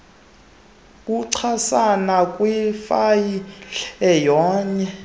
buchasana kwifayile nganye